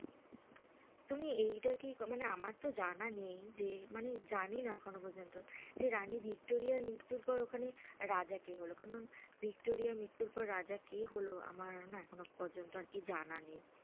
তুমি এইটা কি মানে আমার তো জানা নেই যে মানে জানি না এখনো পর্যন্ত যে রানী ভিক্টোরিয়ার মৃত্যুর পর ওখানে রাজা কে হলো, কারণ ভিক্টোরিয়ার মৃত্যুর পর রাজা কে হলো আমার না এখনো প্রজন্ত আর কি জানা নেই,